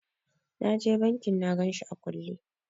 Na je bankin na ganshi a kulle.